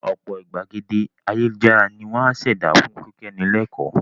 Ọ̀pọ̀ ìgbàgede ayélujára ni wọ́n á ṣẹ̀dá fún kíkọ́ni lẹ́kọ́ọ̀